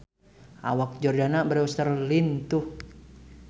Awak Jordana Brewster lintuh